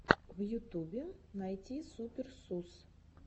в ютубе найти супер сус